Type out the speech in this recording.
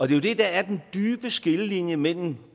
jo det der er den dybe skillelinje mellem